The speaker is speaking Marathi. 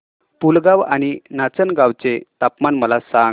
पुलगांव आणि नाचनगांव चे तापमान मला सांग